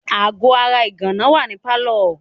Aago ara ìgànná wà ní pálọ̀.